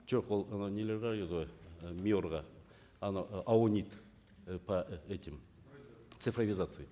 жоқ ол анау нелерге қарайды ғой ы миор ға анау ы аунит і по этим цифровизации